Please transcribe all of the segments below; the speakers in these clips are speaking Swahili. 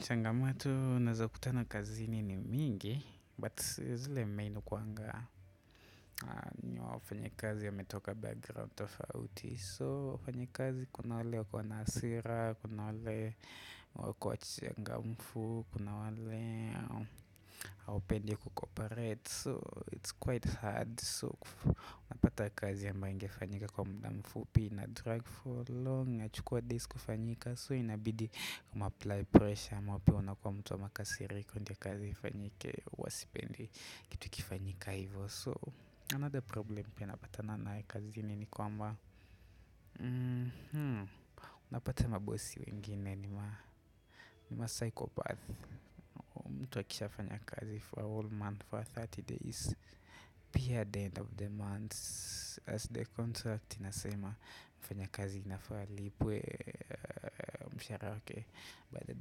Changamato ninazokutana kazini ni mingi, but zile main hukuanga ni wafanyikazi wametoka background tofauti. So wafanyakazi kuna wale wakona asira, kuna wale wako wachangamufu, kuna wale haupendi kukoparate. So it's quite hard. Kufu unapata kazi ambaye ingifanyika kwa muda mfupi ina drag for long, inachukuwa days kufanyika, so inabidi mumaapply pressure mwapi wano kwa mutu wa makasiriko ndio kazi ifanyike huwa sipendi, kitu ikifanyika ivo. Another problem pia napatana naye kazini nikwamba, mhm, unapata mabossi wengine ni ma psychopath. Mtu akishaa fanya kazi for a whole month, for 30 days, pia the end of the month. As the contract inasema, mfanyakazi anafa alipwe mshara wake baada,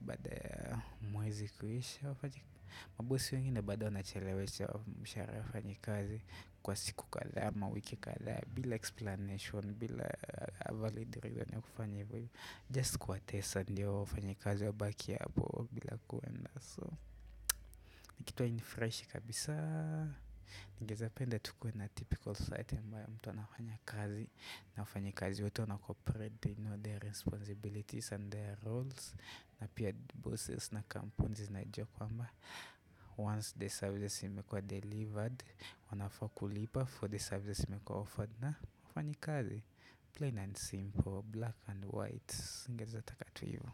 baada mwezi kuisha. Mabossi wengine bado wanachalewesha mshahara ya wafanyakazi kwa siku kadha ama wiki kadha, bila explanation, bila avalid ni kufanya, just kuwatesa ndio, wafanyakazi wabaki hapo, bila kwenda, so. Nikitwa nifreshi kabisa. Ningezapenda tukuwe na typical society ambayo mtu anafanya kazi, na wafanyakazi wetu wana corporate, they know, their responsibilities and their roles, na pia the bosses na compuni, zinajuakwamba, once the service imekua delivered, wanaafa kulipa for the service imekuwa offered na wafanya lkazi, plain and simple, black and white. Ningeezataka tu ivu.